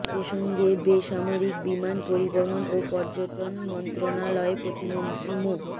এ প্রসঙ্গে বেসামরিক বিমান পরিবহন ও পর্যটন মন্ত্রণালয়ে প্রতিমন্ত্রী মো